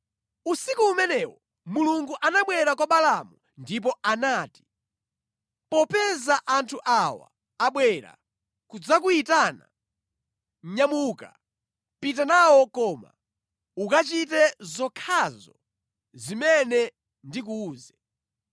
Usiku umenewo Mulungu anabwera kwa Balaamu ndipo anati, “Popeza anthu awa abwera kudzakuyitana, nyamuka, pita nawo koma ukachite zokhazo zimene ndikuwuze.”